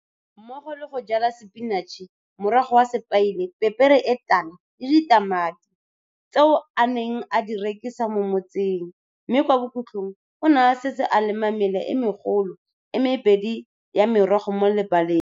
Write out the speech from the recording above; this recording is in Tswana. Mmogo le go jala sepinatšhe, morogo wa sepaile, pepere e tala le ditamati, tseo a neng a di rekisa mo motseng, mme kwa bokhutlhong o ne a setse a lema mela e megolo e mebedi ya merogo mo lebaleng.